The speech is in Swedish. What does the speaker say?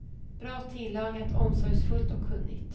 Bra tillagat, omsorgsfullt och kunnigt.